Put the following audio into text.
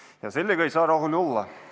Ja sellega ei saa rahul olla.